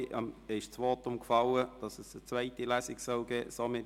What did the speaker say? Zuvor ist das Votum gefallen, dass eine zweite Lesung stattfinden soll.